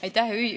Aitäh!